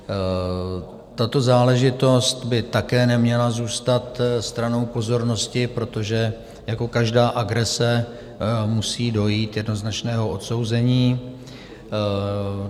Tato záležitost by také neměla zůstat stranou pozornosti, protože jako každá agrese musí dojít jednoznačného odsouzení.